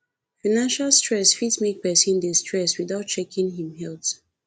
financial stress fit make person dey stress without checking im health